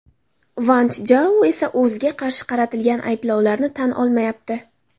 Vanchjou esa o‘ziga qarshi qaratilgan ayblovlarni tan olmayapti.